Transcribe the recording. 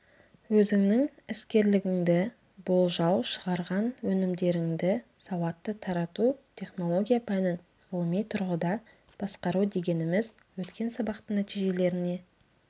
өзіңнің іскерлігіңді болжау шығарған өнімдеріңді сауатты тарату технология пәнін ғылыми тұрғыда басқару дегеніміз өткен сабақтың нәтижелеріне